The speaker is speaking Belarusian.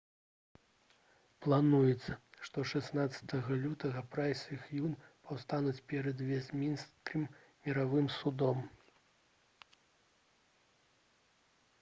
плануецца што 16 лютага прайс і х'юн паўстануць перад вестмінстэрскім міравым судом